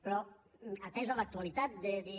però atesa l’actualitat de dir